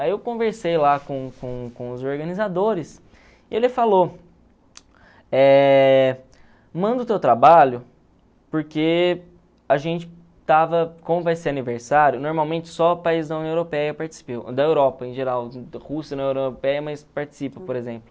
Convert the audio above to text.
Aí eu conversei lá com com com os organizadores e ele falou, eh manda o teu trabalho, porque a gente estava, como vai ser aniversário, normalmente só o país da União Europeia da Europa em geral, Rússia não é União Europeia, mas participa, por exemplo.